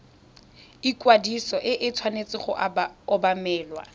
ikwadiso e tshwanetse go obamelwa